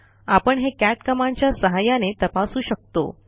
आपण हे कॅट कमांडच्या सहाय्याने तपासू शकतो